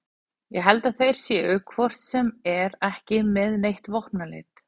Ég held að þeir séu hvort sem er ekki með neitt vopnaleit